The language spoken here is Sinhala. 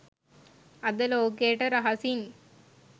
අද ලෝකයට රහසින්